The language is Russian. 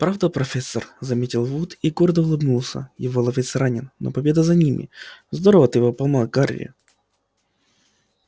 правда профессор заметил вуд и гордо улыбнулся его ловец ранен но победа за ними здорово ты его поймал гарри